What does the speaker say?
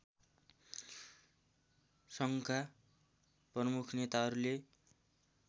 सङ्घका प्रमुख नेताहरूले